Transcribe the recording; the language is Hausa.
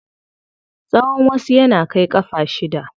Tsawan wasu yana kai ƙafa shida.